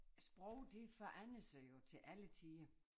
Sprog det forandrer sig jo til alle tider